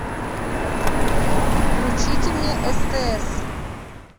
включите мне стс